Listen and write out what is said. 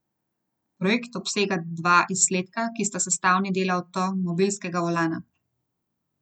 Projekt obsega dva izdelka, ki sta sestavni del avtomobilskega volana.